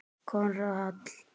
Konráð Hall.